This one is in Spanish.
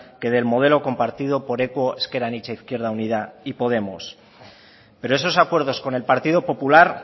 que del modelo compartido por equo ezker anitza izquierda unida y podemos pero esos acuerdos con el partido popular